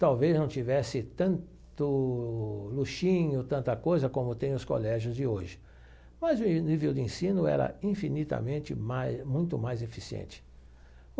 Talvez não tivesse tanto luxinho, tanta coisa como tem os colégios de hoje, mas o nível de ensino era infinitamente mais, muito mais eficiente.